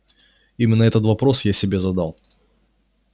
именно этот вопрос я себе задал